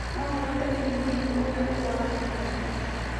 No kũhoteke nĩ mũrimũ ũrĩa ũrũaragũo kaingĩ.